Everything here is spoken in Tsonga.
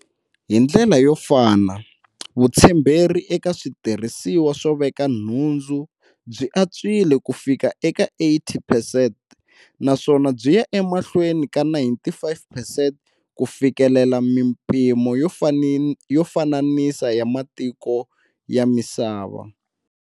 Hi ndlela yo fana, vutshemberi eka switirhisiwa swo veka nhundzu byi antswile kufika ka 80 percent naswona byi ya emahlweni ka 95 percent ku fikelela mipimo yo fananisa ya matiko ya misava.